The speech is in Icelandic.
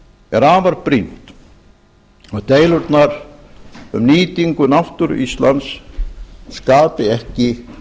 er afar brýnt að deilurnar um nýtingu náttúru íslands skapi ekki